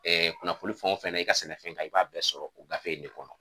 kunnafoni fɛn o fɛn na i ka sɛnɛfɛn kan i b'a bɛɛ sɔrɔ o gafe in de kɔnɔ